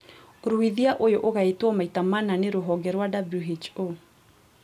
Ũruithia ũyũ ũgaĩtwo maita mana nĩ rũhonge rwa WHO